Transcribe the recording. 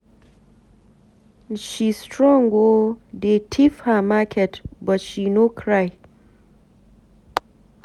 She strong oo, dey thief her market but she no cry.